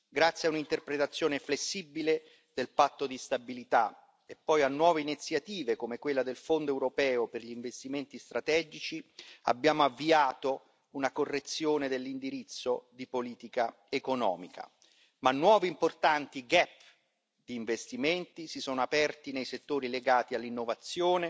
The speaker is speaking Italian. Grazie a un'interpretazione flessibile del Patto di stabilità e poi a nuove iniziative come quella del Fondo europeo per gli investimenti strategici, abbiamo avviato una correzione dell'indirizzo di politica economica, ma nuovi importanti gap di investimenti si sono aperti nei settori legati all'innovazione,